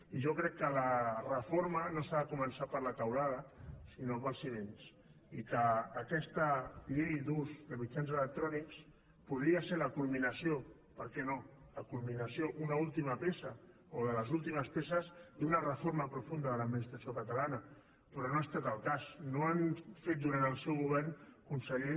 i jo crec que la reforma no s’ha de començar per la teulada sinó pels fonaments i que aquesta llei d’ús de mitjans electrònics podia ser la culminació perquè no la culminació una última peça o de les últimes peces d’una reforma profunda de l’administració catalana però no ha estat el cas no han fet durant el seu govern conseller